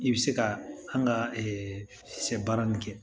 I bɛ se ka an ka sɛ baara nin kɛ